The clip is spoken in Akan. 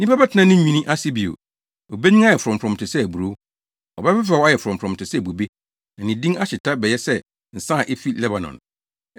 Nnipa bɛtena ne nwini ase bio. Obenyin ayɛ frɔmfrɔm te sɛ aburow. Ɔbɛfefɛw ayɛ frɔmfrɔm te sɛ bobe, na ne din a ahyeta bɛyɛ sɛ nsa a efi Lebanon.